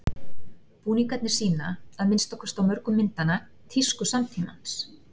Búningarnir sýna, að minnsta kosti á mörgum myndanna, tísku samtímans.